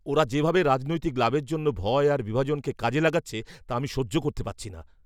ওরা যেভাবে রাজনৈতিক লাভের জন্য ভয় আর বিভাজনকে কাজে লাগাচ্ছে, তা আমি সহ্য করতে পারছি না।